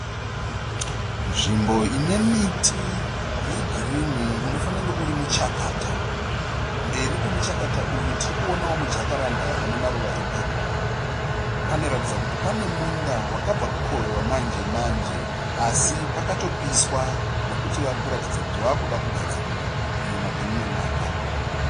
Nzvimbo inemiti yegirini unofanira kunge urimuchakata. Mberi kwemuchakata uyu tirikuonawo mujakaranda unemaruva epepuro. Panoratidza kuti panemunda wakabva kukohwiwa manje manje asi pakatopiswa nekuti varikuratidza kuti vavakuda kugadzirira kurima kweumwe mwaka.